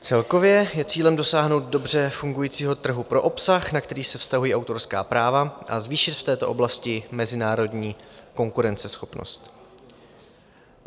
Celkově je cílem dosáhnout dobře fungujícího trhu pro obsah, na který se vztahují autorská práva, a zvýšit v této oblasti mezinárodní konkurenceschopnost.